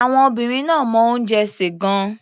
Àwọn obìnrin náà mọ oúnjẹ sè gan-an.